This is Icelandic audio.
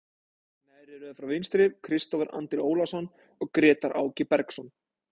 Neðri röð frá vinstri, Kristófer Andri Ólason og Grétar Áki Bergsson.